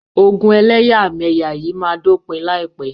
Ogun ẹlẹ́yàmẹyà yìí ma dópin láìpẹ́.